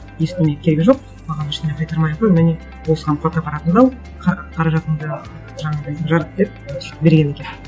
ештеңе керегі жоқ маған ештеңе қайтармай ақ қой міне осыған фотоаппаратыңды ал қаражатыңды жаңағындай жарат деп сөйтіп берген екен